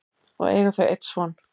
og eiga þau einn son.